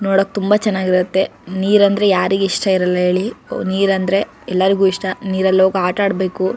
ನೋಡಕ್ ತುಂಬಾ ಚೆನ್ನಾಗಿ ಇರುತ್ತೆ ನೀರ್ ಅಂದ್ರೆ ಯಾರಿಗ್ ಇಷ್ಟ ಇರಲ್ಲ ಹೇಳಿ ನೀರ ಅಂದ್ರೆ ಎಲ್ಲರಿಗೂ ಇಷ್ಟ ನೀರಲ್ಲಿ ಹೋಗಿ ಆಟ ಆಡಬೇಕು.